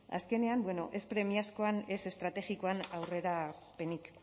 azkenean bueno ez premiazkoan ez estrategikoan aurrerapenik